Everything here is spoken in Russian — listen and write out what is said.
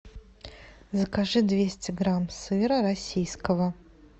закажи двести грамм сыра российского